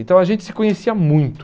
Então a gente se conhecia muito.